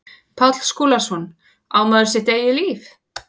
Páll Skúlason, Á maður sitt eigið líf?